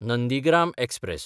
Nandigram express